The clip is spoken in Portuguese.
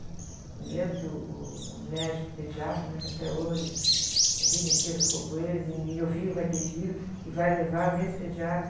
Eu me lembro que uh, uh, o médico pediatra, né? Que até hoje, a vida inteira ficou com eles. E, e meu filho vai ter filho, e vai levar nesse pediatra.